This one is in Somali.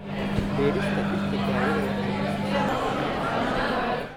Beerista dhirta dawada waxay kordhisaa caafimaadka bulshada.